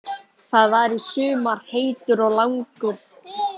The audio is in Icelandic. Það var í sumar heitur, langur og rakur koss.